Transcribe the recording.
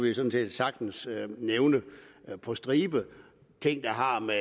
jo sådan set sagtens nævne på stribe ting der har med